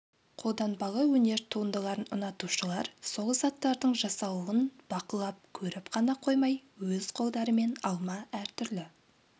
қолданбалы өнер туындыларын ұнатушылар сол заттардың жасалуын бақылап көріп қана қоймай өз қолдарымен алма әртүрлі